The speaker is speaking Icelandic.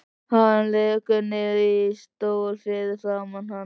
Hann lekur niður í stól fyrir framan hana.